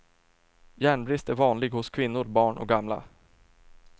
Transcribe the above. Järnbrist är vanlig hos kvinnor, barn och gamla.